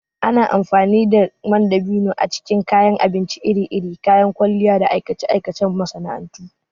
Ana amfani da man dabino a cikin kayan abinci iri-iri, kayan kwalliya, da aikace-aikacen masana'antu.